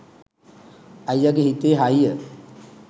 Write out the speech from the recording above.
අයියගේ හිතේ තියෙන